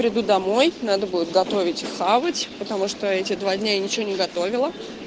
приду домой надо будет готовить хавать потому что эти два дня я ничего не готовила